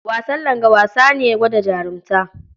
Wasan langa wasa ne gwada jarunta.